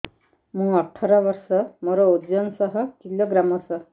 ମୁଁ ଅଠର ବର୍ଷ ମୋର ଓଜନ ଶହ କିଲୋଗ୍ରାମସ